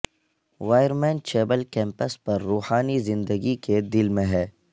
wireman chapel campus پر روحانی زندگی کے دل میں ہے